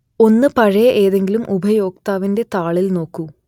ഒന്ന് പഴയ ഏതെങ്കിലും ഉപയോക്താവിന്റെ താളിൽ നോക്കൂ